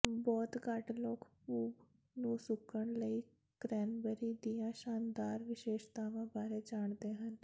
ਬਹੁਤ ਘੱਟ ਲੋਕ ਭੂਤ ਨੂੰ ਸੁੱਕਣ ਲਈ ਕ੍ਰੈਨਬੇਰੀ ਦੀਆਂ ਸ਼ਾਨਦਾਰ ਵਿਸ਼ੇਸ਼ਤਾਵਾਂ ਬਾਰੇ ਜਾਣਦੇ ਹਨ